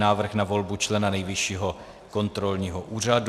Návrh na volbu člena Nejvyššího kontrolního úřadu